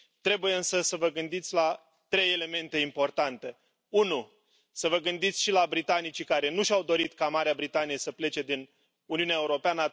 Trebuie însă să vă gândiți la trei elemente importante să vă gândiți și la britanicii care nu și au dorit ca Marea Britanie să plece din Uniunea Europeană